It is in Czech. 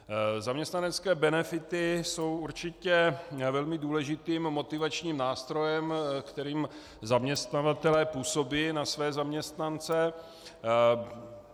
Zaměstnanecké benefity jsou určitě velmi důležitým motivačním nástrojem, kterým zaměstnavatelé působí na své zaměstnance.